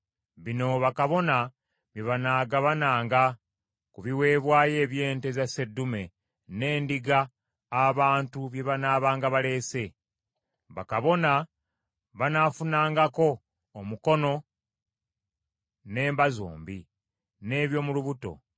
Bino bakabona bye banaagabananga ku biweebwayo eby’ente za sseddume n’endiga abantu bye banaabanga baleese: bakabona banaafunangako omukono n’emba zombi, n’eby’omu lubuto.